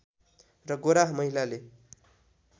र गोरा महिलाले